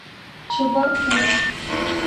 чебаркуль